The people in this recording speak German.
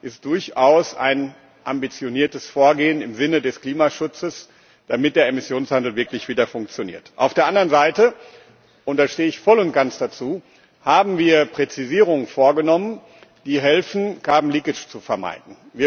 ist durchaus ein ambitioniertes Vorgehen im Sinne des Klimaschutzes, damit der Emissionshandel wirklich wieder funktioniert. Auf der anderen Seite und dazu stehe ich voll und ganz haben wir Präzisierungen vorgenommen, die helfen, Verlagerung von CO2 Emissionen zu vermeiden.